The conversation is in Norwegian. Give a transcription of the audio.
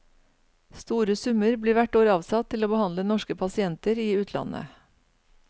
Store summer blir hvert år avsatt til å behandle norske pasienter i utlandet.